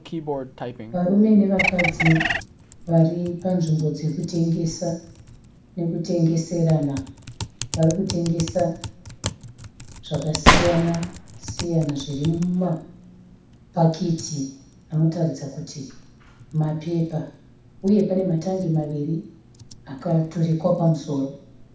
Varume nevakadzi vari panzvimbo dzekutengesa nekutengeserana , vari kutengesa zvakasiyana siyana zviri mumapakiti anoratidza kuti mapepa, uye pane matangi maviri akaturikwa pamusoro.